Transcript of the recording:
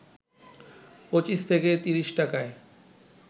২৫ থেকে ৩০ টাকায়